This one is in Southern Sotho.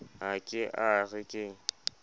ha ke a re ke